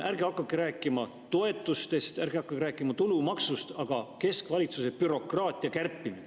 Ärge hakake rääkima toetustest, ärge hakake rääkima tulumaksust, vaid keskvalitsuse bürokraatia kärpimisest.